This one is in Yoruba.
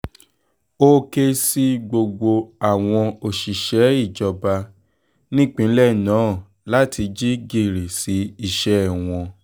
ó ké sí gbogbo àwọn òṣìṣẹ́ ìjọba nípínlẹ̀ náà láti jí gìrì sí iṣẹ́ wọn